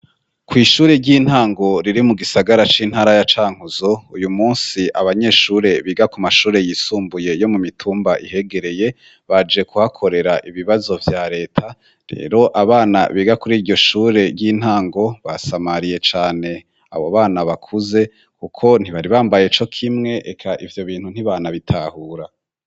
Kwishure ry'intango riri mu gisagara c'intara ya Cankuzo uyu munsi abanyeshure biga ku mashure yisumbuye yo mu mitumba ihegereye baje kuhakorera ibibazo vya reta rero abana biga kuri iryo shure ry'intango basamariye cane abo bana bakuze kuko ntibari bambaye co kimwe eka ivyo bintu ntibanabitahura.